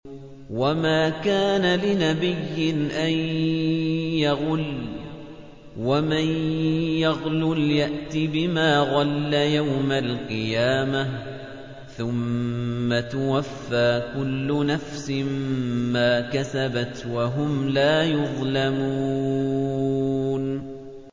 وَمَا كَانَ لِنَبِيٍّ أَن يَغُلَّ ۚ وَمَن يَغْلُلْ يَأْتِ بِمَا غَلَّ يَوْمَ الْقِيَامَةِ ۚ ثُمَّ تُوَفَّىٰ كُلُّ نَفْسٍ مَّا كَسَبَتْ وَهُمْ لَا يُظْلَمُونَ